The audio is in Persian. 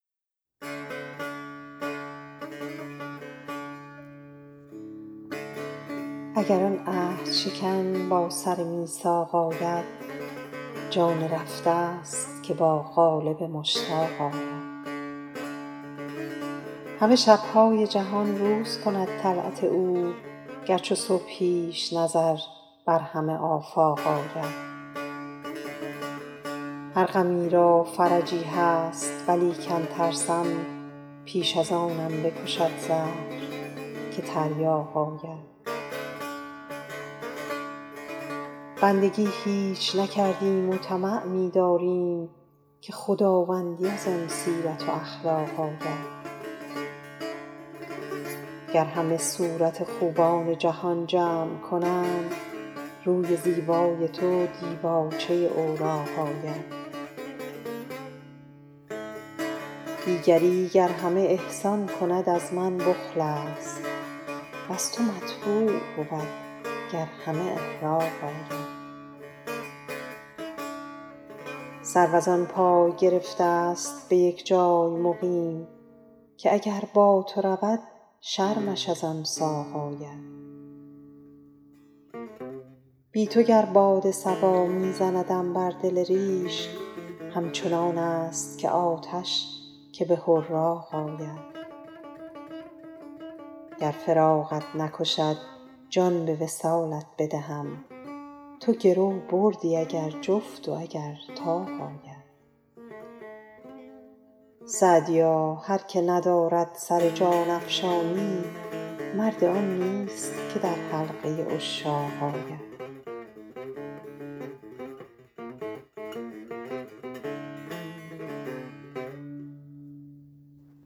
اگر آن عهدشکن با سر میثاق آید جان رفته ست که با قالب مشتاق آید همه شب های جهان روز کند طلعت او گر چو صبحیش نظر بر همه آفاق آید هر غمی را فرجی هست ولیکن ترسم پیش از آنم بکشد زهر که تریاق آید بندگی هیچ نکردیم و طمع می داریم که خداوندی از آن سیرت و اخلاق آید گر همه صورت خوبان جهان جمع کنند روی زیبای تو دیباچه اوراق آید دیگری گر همه احسان کند از من بخل است وز تو مطبوع بود گر همه احراق آید سرو از آن پای گرفته ست به یک جای مقیم که اگر با تو رود شرمش از آن ساق آید بی تو گر باد صبا می زندم بر دل ریش همچنان است که آتش که به حراق آید گر فراقت نکشد جان به وصالت بدهم تو گرو بردی اگر جفت و اگر طاق آید سعدیا هر که ندارد سر جان افشانی مرد آن نیست که در حلقه عشاق آید